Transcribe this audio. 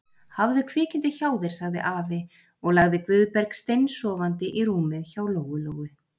Hafðu kvikindið hjá þér, sagði afi og lagði Guðberg steinsofandi í rúmið hjá Lóu-Lóu.